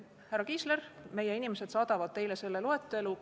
Härra Kiisler, meie inimesed saadavad teile selle loetelu.